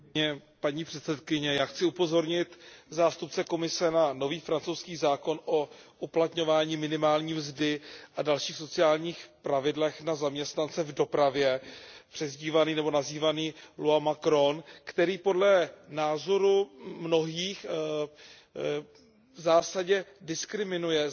Já chci upozornit zástupce Komise na nový francouzský zákon o uplatňování minimální mzdy a dalších sociálních pravidel na zaměstnance v dopravě nazývaný který podle názoru mnohých v zásadě diskriminuje zahraniční dopravce